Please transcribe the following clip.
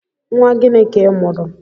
Nwa gịnị ka i mụrụ?